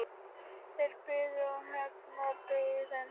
Þeir biðu og það var hefndarhugur í þeim.